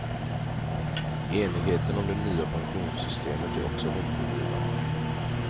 Enigheten om det nya pensionssystemet är också hoppingivande.